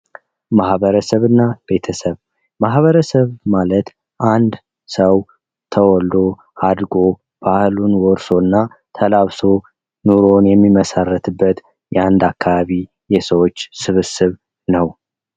ማህበረሰብ እና ቤተሰብ ማህበረሰብ ማለት አንድ ሰው ተወልዶ አድጎ ባህሉን ወርሶና ተላብሶ ኑሮን የሚመሰርትበት የአንድ አካባቢ የሰዎች ስብስብ ነው።